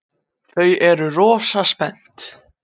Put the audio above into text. Þau eru rosa spennt.